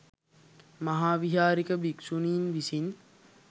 මහාවිහාරික භික්‍ෂූණින් විසින්